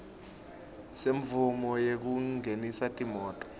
semvumo yekungenisa timoti